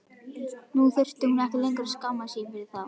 Nú þurfti hún ekki lengur að skammast sín fyrir þá.